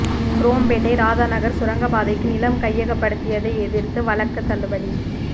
குரோம்பேட்டை ராதாநகர் சுரங்கப்பாதைக்கு நிலம் கையகப்படுத்தியதை எதிர்த்த வழக்கு தள்ளுபடி